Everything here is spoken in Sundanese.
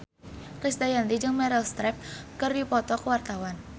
Krisdayanti jeung Meryl Streep keur dipoto ku wartawan